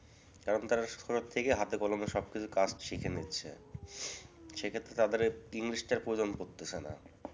কারণ, তারা সবসময় থেকে হাতে কলমে সবকিছু কাজ শিখে নিচ্ছে। সেক্ষেত্রে তাদের english টার প্রয়োজন পড়তেছে না।